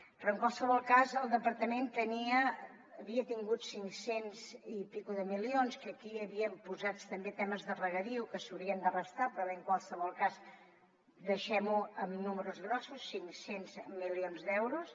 però en qualsevol cas el departament havia tingut cinc cents i escaig milions que aquí hi havien posats també temes de regadiu que s’haurien de restar però bé en qualsevol cas deixem ho en números grossos cinc cents milions d’euros